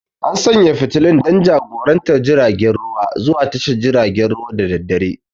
An sanye da fitilun don jagorantar jiragen ruwa zuwa tashar jiragen ruwa da daddare.